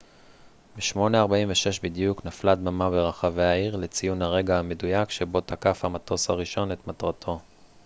ב-08:46 בדיוק נפלה דממה ברחבי העיר לציון הרגע המדויק שבו תקף המטוס הראשון את מטרתו